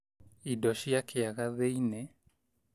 Indo cia kiaga thĩinĩ